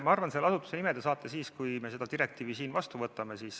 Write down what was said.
Ma arvan, et selle asutuse nime te saate teada siis, kui me selle direktiivi siin vastu võtame.